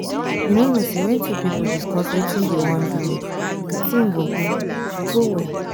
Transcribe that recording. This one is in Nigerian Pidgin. you no know say when two people discuss wetin dey wan do well the thing go go go go well